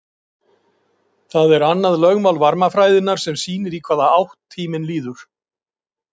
Það er annað lögmál varmafræðinnar sem sýnir í hvaða átt tíminn líður.